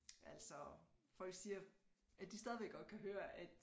Altså folk siger at de stadigvæk godt kan høre at